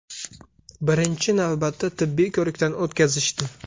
Birinchi navbatda tibbiy ko‘rikdan o‘tkazishdi.